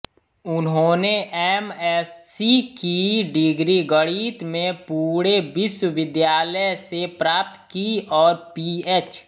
उन्होंने M S C की डिग्री गणित में पुणे विश्वविद्यालय से प्राप्त की और पीएच